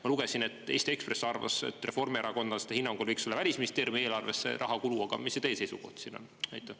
Ma lugesin, et Eesti Ekspress arvas, et reformierakondlaste hinnangul võiks olla Välisministeeriumi eelarves see rahakulu, aga mis see teie seisukoht siin on?